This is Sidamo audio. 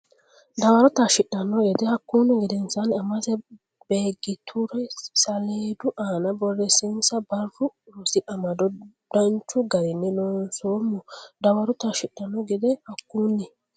dawaro taashshidhanno gede Hakkunni gedensaanni Amase Beeggitura saleedu aana borreessinsa Barru Rosi Amado Danchu garinni loonsoommo dawaro taashshidhanno gede Hakkunni.